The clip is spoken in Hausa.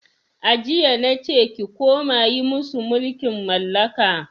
A jiya nace ki koma yi musu mulkin mallaka!